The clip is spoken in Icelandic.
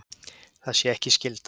Það sé ekki skylda.